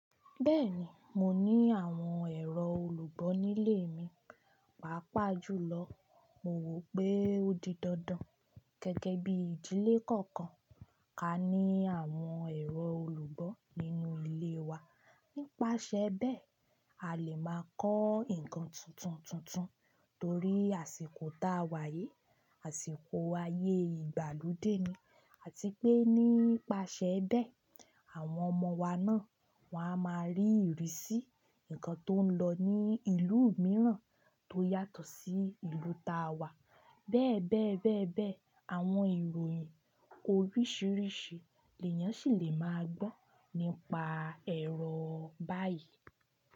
Bẹ́ẹ̀ni, mo ní àwọn ẹ̀rọ olùgbọ́ nílé mi, pàápàá jùlọ. Mo rò pé ó di dandan gẹ́gẹ́ bí ìdílé kọ̀ọ̀kan kí á ní àwọn ẹ̀rọ olùgbọ́ nínú ilé wa. Nípasẹ bẹ́ẹ̀, a lè máa kọ́ nǹkan tuntun tuntun torí àsìkò ta Wàyí, àsìkò ayé ìgbàlódé ni, àti pé nípasẹ bẹ́ẹ̀, àwọn ọmọ wa náà, wọn a máa rí ìrísí nǹkan tó ń lọ ní ìlú mìíràn tó yàtọ̀ sí ìlú ta wà. Bẹ́ẹ̀ bẹ́ẹ̀ bẹ́ẹ̀ bẹ́ẹ̀, àwọn ìròyìn oríṣiríṣi èèyàn sì lè máa gbọ́ nípa ẹ̀rọ báyìí.